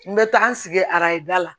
N bɛ taa n sigi araja la